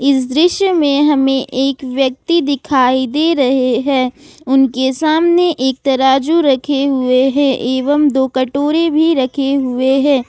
इस दृश्य में हमें एक व्यक्ति दिखाई दे रहे हैं उनके सामने एक तराजू रखे हुए हैं एवं दो कटोरे भी रखे हुए हैं।